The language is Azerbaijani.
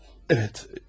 Evet.